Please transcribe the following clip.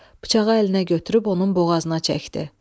Bıçağı əlinə götürüb onun boğazına çəkdi.